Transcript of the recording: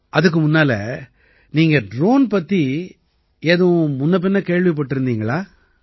அதுக்கு முன்னால நீங்க ட்ரோன் பத்தி ஏதும் முன்னபின்ன கேள்விப்பட்டிருந்தீங்களா